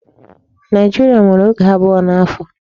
Nigeria nwèrè oge abụọ n'afọ.